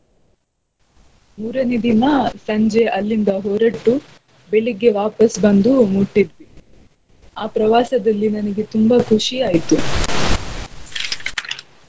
ಮೂರನೆ ದಿನ ಸಂಜೆ ಅಲ್ಲಿಂದ ಹೊರಟು ಬೆಳಿಗ್ಗೆ ವಾಪಸ್ ಬಂದು ಮುಟ್ಟಿದ್ವಿ. ಆ ಪ್ರವಾಸದಲ್ಲಿ ನನಗೆ ತುಂಬ ಖುಷಿ ಆಯ್ತು